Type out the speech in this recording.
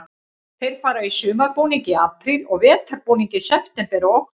Þeir fara í sumarbúning í apríl og vetrarbúning í september og október.